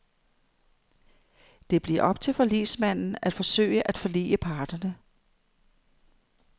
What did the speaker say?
Det bliver op til forligsmanden at forsøge at forlige parterne.